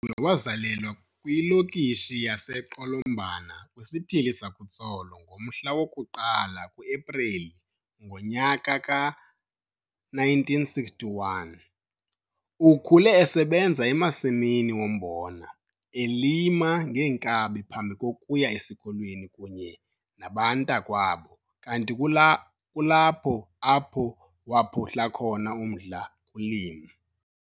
UThenjiwe wazalelwa kwiLokishi yaseQolombana kwisiThili sakuTsolo ngomhla woku-1 kuEpreli ngo-1961. Ukhule esebenza emasimini ombona, elima ngeenkabi phambi kokuya esikolweni kunye nabantakwabo kanti kulapho apho waphuhla khona umdla kulimo.